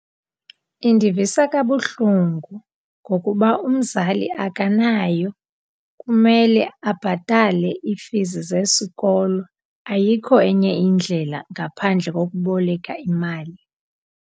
Indivisa kabuhlungu ngokuba umzali akanayo, kumele abhatale iifizi zesikolo. Ayikho enye indlela ngaphandle kokuboleka imali.